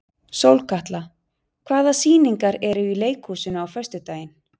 Sólkatla, hvaða sýningar eru í leikhúsinu á föstudaginn?